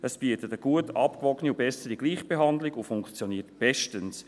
Es bietet eine gut abgewogene sowie bessere Gleichbehandlung und funktioniert bestens.